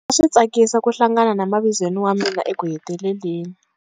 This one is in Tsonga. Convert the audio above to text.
A swi tsakisa ku hlangana na mavizweni wa mina ekuheteleleni.